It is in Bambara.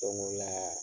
Don go